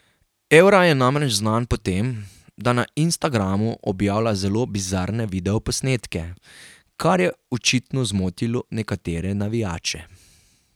Evra je namreč znan po tem, da na Instagramu objavlja zelo bizarne videoposnetke, kar je očitno zmotilo nekatere navijače.